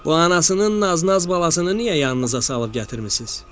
“Bu anasının naz-naz balasını niyə yanınıza alıb gətirmisiz?”